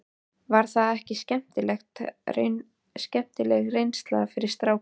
Var það ekki skemmtileg reynsla fyrir strákana?